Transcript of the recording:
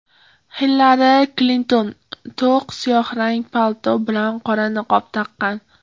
Xillari Klinton to‘q siyohrang palto bilan qora niqob taqqan.